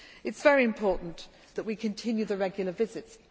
It is very important that we continue the regular visits.